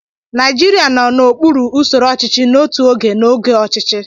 Naijiria nọ n'okpuru usoro ọchịchị n'otu oge n'oge ọchịchị.